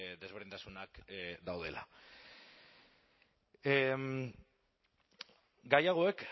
desberdintasunak daudela gai hauek